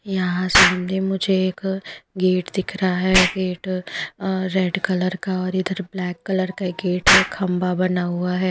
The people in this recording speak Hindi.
यहाँ सामने मुझे एक गेट दिख रहा है गेट अ रेड कलर का और इधर ब्लैक कलर का एक गेट है खंबा बना हुआ है।